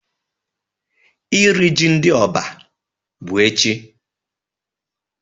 Iri ji ndị Oba bụ echi.